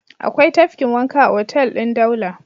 Akwai tafkin wanka a hotel ɗin Daula.